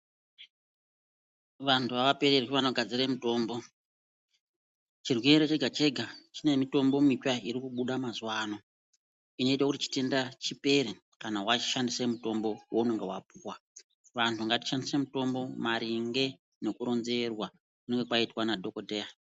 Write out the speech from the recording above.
Wanhu awapererwi wanogadzira mutombo, chirwere chega chega chine mitambo mitsva iri kubuda mazuwano, chinoite kuti chitenda chipere kana wachishandise mitombo weunonga wapuwa wanhu ngatishandise mutombo maringe nekuronzerwa kwaunenge waitwa nadhokodheya.